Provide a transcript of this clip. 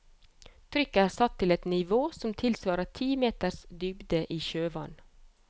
Trykket er satt til et nivå som tilsvarer ti meters dybde i sjøvann.